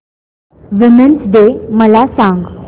women's day मला सांग